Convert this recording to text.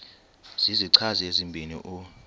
zizichazi ezibini u